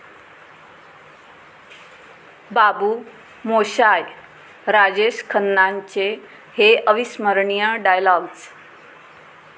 बाबू मोशाय...'राजेश खन्नांचे हे अविस्मरणीय डायलॉग्ज